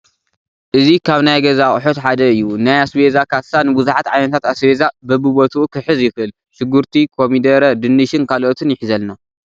እዚ ካብ ናይ ገዛ ኣቑሑት ሓደ እዩ፡፡ ናይ ኣስቤዛ ካሳ ንብዙሓት ዓይነታት ኣስቤዛ በቢቦት ክሕዝ ይኽእል፡፡ ሽጉርቲ፣ ኮሚደረ፣ ድንሽን ካልኦትን ይሕዘልና፡፡